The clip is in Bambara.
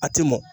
A tɛ mɔn